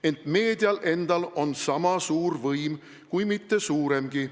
Ent meedial endal on sama suur võim, kui mitte suuremgi.